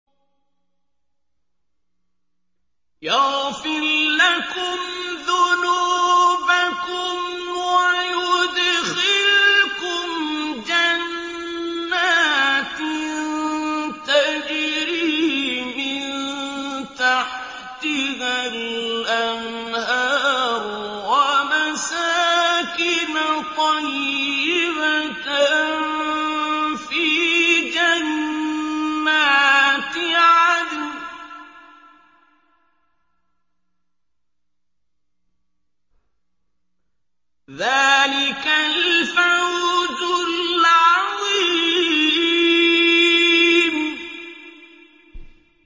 يَغْفِرْ لَكُمْ ذُنُوبَكُمْ وَيُدْخِلْكُمْ جَنَّاتٍ تَجْرِي مِن تَحْتِهَا الْأَنْهَارُ وَمَسَاكِنَ طَيِّبَةً فِي جَنَّاتِ عَدْنٍ ۚ ذَٰلِكَ الْفَوْزُ الْعَظِيمُ